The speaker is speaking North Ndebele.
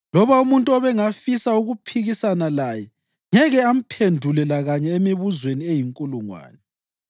Loba umuntu ubengafisa ukuphikisana laye ngeke amphendule lakanye emibuzweni eyinkulungwane.